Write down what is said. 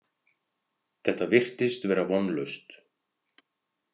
Þetta virtist vera vonlaust.